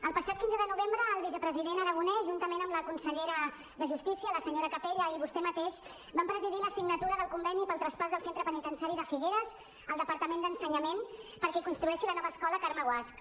el passat quinze de novembre el vicepresident aragonès juntament amb la consellera de justícia la senyora capella i vostè mateix van presidir la signatura del conveni pel traspàs del centre penitenciari de figueres al departament d’ensenyament perquè construeixi la nova escola carme guasch